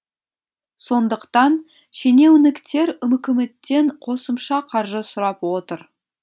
сондықтан шенеуніктер үкіметтен қосымша қаржы сұрап отыр